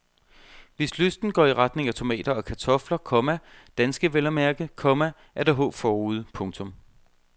Hvis lysten går i retning af tomater og kartofler, komma danske vel at mærke, komma er der håb forude. punktum